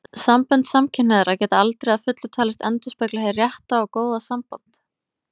Sambönd samkynhneigðra geta aldrei að fullu talist endurspegla hið rétta og góða samband.